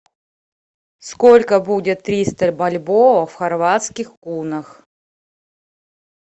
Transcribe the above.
сколько будет триста бальбоа в хорватских кунах